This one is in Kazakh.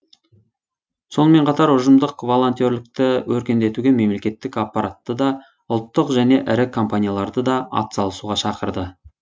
сонымен қатар ұжымдық волонтерлікті өркендетуге мемлекеттік аппаратты да ұлттық және ірі компанияларды да атсалысуға шақырды